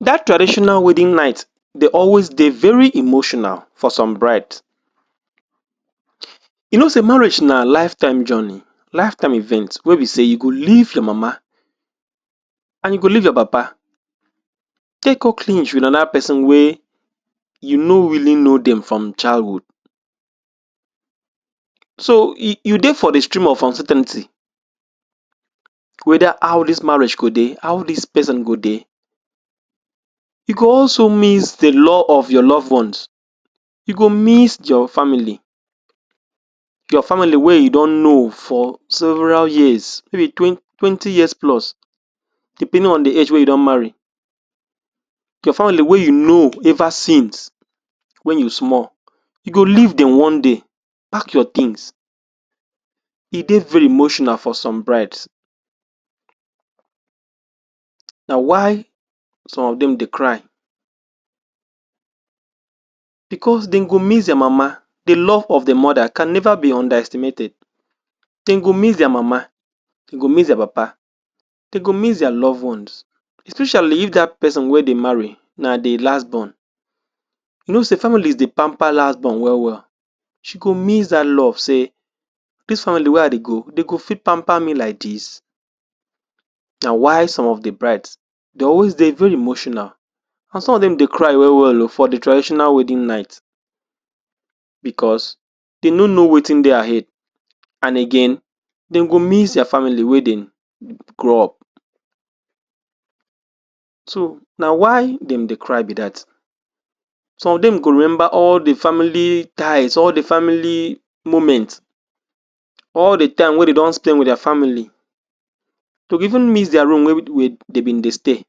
That traditional wedding night dey always dey very emotional for some bride. You no sey marriage na lifetime journey lifetime event wey be sey you go leave your mama and you go leave your papa, take go cling with another person wey you no really know dem from childhood. So, you dey for the stream of uncertainty, whether how this marriage go dey, how this person go dey. You go also miss the love of your love ones. You go miss your family, your family wey you don know for several years, in-between twenty years plus, depending on the age wey you don marry, your family wey you know ever since when you small, you go leave dem one day, pack your things. E dey very emotional for some brides, na why some of dem dey cry, because dem go miss their mama. The love of the mother can never be underestimated. Dem go miss their mama, dem go miss papa, dem go miss their love ones, especially if that person wey dey marry na the last born. You know sey families dey pamper last born well well. She go miss that love sey this family wey I dey go, dem go fit pamper me like this? Na why some of the brides dey always dey very emotional, and some of dem dey cry well well o for the traditional wedding night because, dem no know wetin dey ahead and again, dem go miss their family wey dem grow up. So, na why dem dey cry be that. Some of dem go remember all the family times, all the family moment, all the time wey dem don spend with their family. Dem go even miss their room wey dem been dey stay.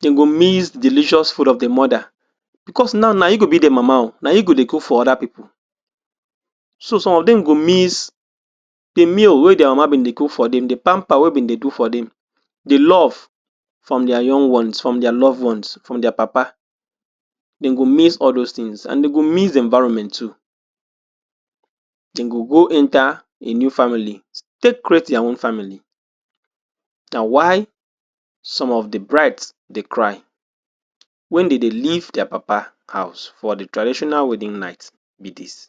Dem go miss delicious food of the mother because now, na you go be the mama o. Na you go dey cook for other people. So, some of dem go miss the meal wey their mama been dey cook for dem, the pamper wey been dey do for dem, the love from their young ones, from their love ones, from their papa. Dem go miss all those things and dem go miss the environment too. Dem go go enter a new family take create their own family. Na why some of the bride dey cry when dem dey leave their papa house for the traditional wedding night be this.